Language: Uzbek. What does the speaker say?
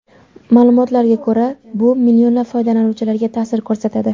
Ma’lumotlarga ko‘ra bu millionlab foydalanuvchilarga ta’sir ko‘rsatadi.